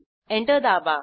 enter दाबा